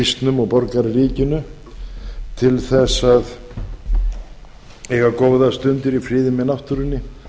borgarysnum og borgarrykinu til best að eiga góðar stundir í friði með náttúrunni